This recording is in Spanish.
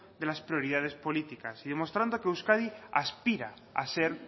de las prioridades políticas y demostrando que euskadi aspira a ser